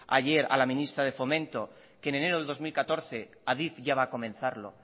ayer a la ministra de fomento que en enero de dos mil catorce adif ya va a comenzarlo